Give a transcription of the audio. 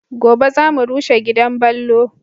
Gobe za mu rushe gidan ballo